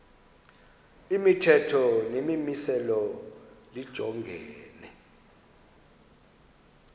imithetho nemimiselo lijongene